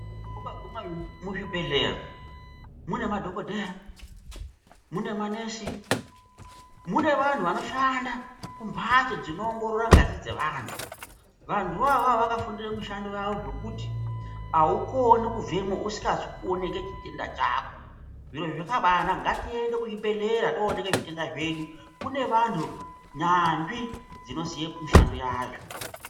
Ukaguma muzvibhehlera muna madhokodheya munemanesi ,mune vanhu vanoshanda mumbatso dzinoongorora ngazi dzevantu vanhuvo avavo vakafundire mushando wavo zvekuti aukone kubvemwo usikazi kuoneke chitenda chako zviro zvakabaanaka ngatiende kuzvibhehlera toonekwe zvitenda zvedu kune vanhu nyanzvi dzinoziye mishando yayo.